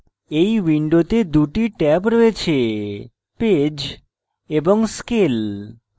এই window দুটি tab রয়েছেpage এবং scale